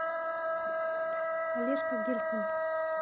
олежка гельфанд